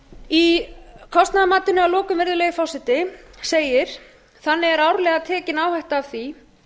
í kostnaðarmatinu að lokum virðulegi forseti segir þannig er árlega tekið áhætta af því